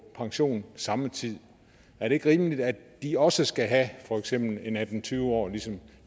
pension samme tid er det ikke rimeligt at de også skal have for eksempel atten til tyve år ligesom